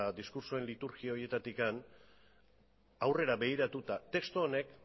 diskurtsoen liturgia horietatik aurrera begiratuta testu honek